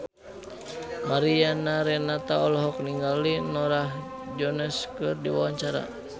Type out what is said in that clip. Mariana Renata olohok ningali Norah Jones keur diwawancara